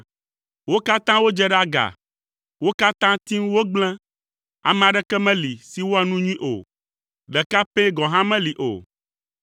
Wo katã wodze ɖe aga, wo katã tim wogblẽ; ame aɖeke meli si wɔa nu nyui o, ɖeka pɛ gɔ̃ hã meli o.